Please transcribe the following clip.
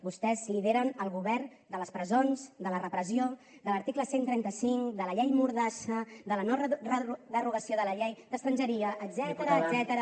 vostès lideren el govern de les presons de la repressió de l’article cent i cinquanta cinc de la llei mordassa de la no derogació de la llei d’estrangeria etcètera